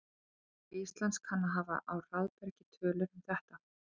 Hagstofa Íslands kann að hafa á hraðbergi tölur um þetta.